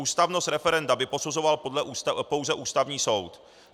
Ústavnost referenda by posuzoval pouze Ústavní soud.